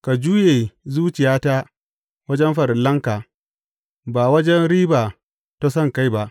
Ka juye zuciyata wajen farillanka ba wajen riba ta sonkai ba.